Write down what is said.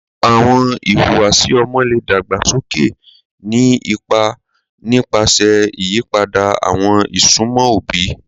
Awọn ihuwasi ọmọ le dagbasoke, ni ipa nipasẹ iyipada awọn isunmọ obi